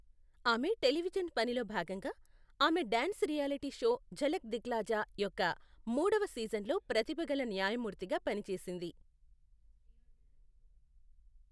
ఆమె టెలివిజన్ పనిలో భాగంగా, ఆమె dance reality show Jhalak Dikhhla Jaa యొక్క మూడవ సీజన్లో ప్రతిభ గల న్యాయమూర్తిగా పనిచేసింది.